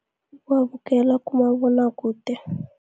Ukuwabukela kumabonwakude.